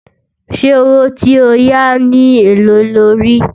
ṣé owó tí ọ yá ní èlé ló rí?